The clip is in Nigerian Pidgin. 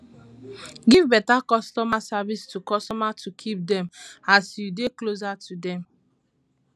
give better customer service to customers to keep them as you dey closer to them